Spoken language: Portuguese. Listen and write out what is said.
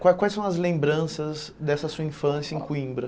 Quais quais são as lembranças dessa sua infância em Coimbra?